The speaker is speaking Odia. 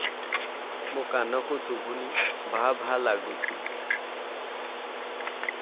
ମୋ କାନକୁ ଶୁଭୁନି ଭା ଭା ଲାଗୁଚି